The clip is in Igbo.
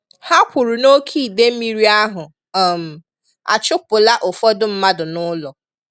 Ha kwuru na oke idemmiri ahụ um achụpụla ụfọdụ mmadụ n'ụlọ